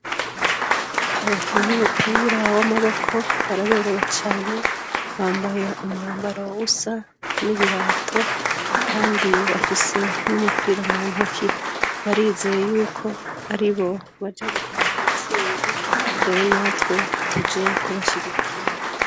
Abakinyi umupira w'amaboko baraberewe cane bambaye umwambaro wwusa n'ibirato, kandi bafise n'umupira mu ntoki barizeye yuko ari bo baja gutaha intsinzi rero natwe tuje kubashigikira.